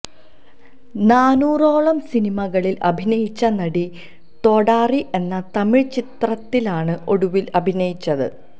നാനൂറോളം സിനിമകളില് അഭിനയിച്ച നടി തൊഡാരി എന്ന തമിഴ് ചിത്രത്തിലാണ് ഒടുവില് അഭിനയിച്ചത്